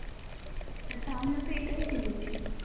আর তা আমিও তো এটাই বুঝেছি